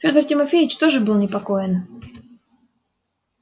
федор тимофеич тоже был непокоен